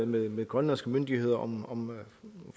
med grønlandske myndigheder om